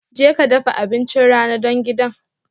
Jeka dafa abincin rana don gidan